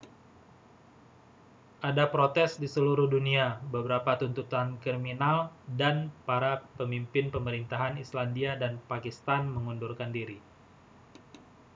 ada protes di seluruh dunia beberapa tuntutan kriminal dan para pemimpin pemerintahan islandia dan pakistan mengundurkan diri